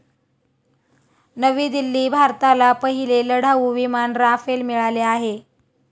नवी दिल्ली भारताला पहिले लढाऊ विमान राफेल मिळाले आहे.